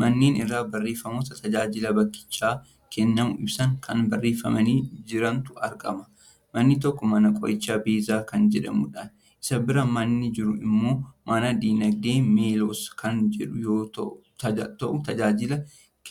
Manneen irra barreeffamoota tajaajila bakkichatti kennamu ibsan kan barreeffamanii jirantu argama. Manni tokko Mana Qorichaa Beezaa kan jedhamudha. Isa bira manni jiru immoo Mana Diinagdee Meelos kan jedhu yoo ta'utajaajila